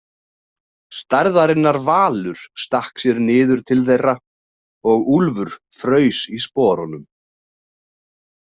Stærðarinnar valur stakk sér niður til þeirra og Úlfur fraus í sporunum.